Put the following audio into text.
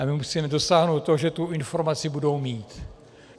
A my musíme dosáhnout toho, že tu informaci budou mít.